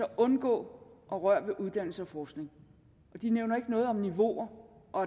undgå at røre ved uddannelse og forskning de nævner ikke noget om niveauer og